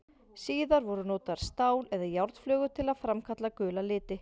Síðar voru notaðar stál- eða járnflögur til að framkalla gula liti.